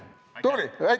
Tubli!